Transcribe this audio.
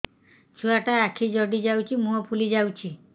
ଛୁଆଟା ଆଖି ଜଡ଼ି ଯାଉଛି ମୁହଁ ଫୁଲି ଯାଉଛି